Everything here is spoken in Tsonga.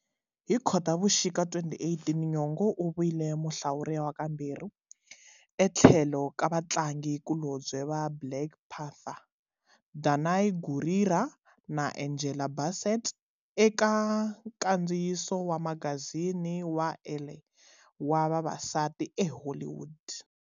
Hi Khotavuxika 2018, Nyong'o u vile muhlawuriwa kambirhi, etlhelo ka vatlangi kulobye"va Black Panther" Danai Gurira na Angela Bassett eka nkandziyiso wa magazini wa"Elle" wa"Vavasati eHollywood".